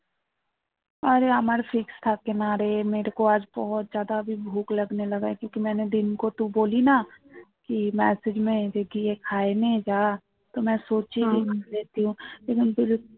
আরে আমার fix থাকে না রে message কিছু খেয়ে নে যা